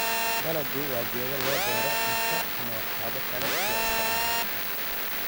Dalaggu waa geedo loo beero cunto ama waxyaabo kale loo isticmaalo.